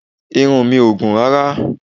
Irun mi ò gùn rárá